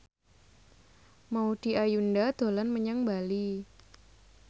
Maudy Ayunda dolan menyang Bali